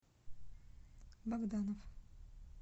богданов